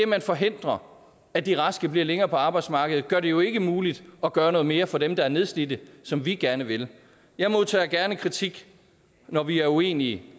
man forhindrer at de raske bliver længere på arbejdsmarkedet bliver det jo ikke muligt at gøre noget mere for dem der er nedslidte som vi gerne vil jeg modtager gerne kritik når vi er uenige